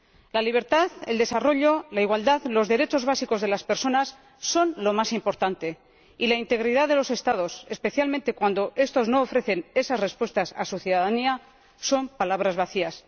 La libertad, el desarrollo, la igualdad y los derechos básicos de las personas son lo más importante, y la integridad de los Estados, especialmente cuando estos no ofrecen esas respuestas a su ciudadanía, son palabras vacías.